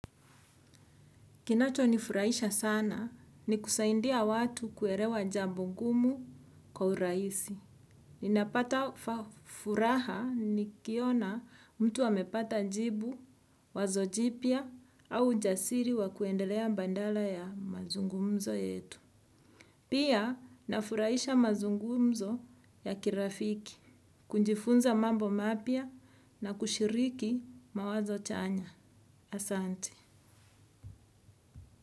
Kinacho nifurahisha sana ni kusaidia watu kuelewa jambo ngumu kwa urahisi. Ninapata furaha nikiona mtu amepata jibu, wazo jipya au ujasiri wakuendelea badala ya mazungumzo yetu. Pia nafurahisha mazungumzo ya kirafiki, kujifunza mambo mapya na kushiriki mawazo chanya. Asante.